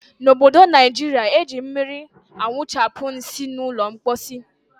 N' obodo Naijiria, eji mmiri awụchapụ nsị n' ụlọ mposi.